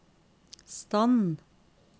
stand